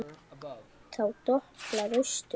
Þá doblar austur.